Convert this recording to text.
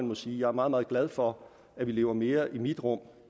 må sige jeg er meget meget glad for at vi lever mere i mit rum